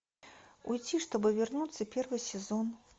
уйти чтобы вернуться первый сезон